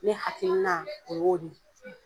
Ne hakilina o y'o de ye .